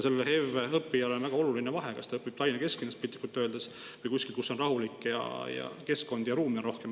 Sellele HEV õppijale on väga oluline vahe, kas ta õpib piltlikult öeldes Tallinna kesklinnas või kuskil, kus on rahulik keskkond ja kus ka ruumi on rohkem.